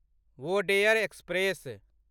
Wodeyar express